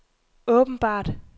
åbenbart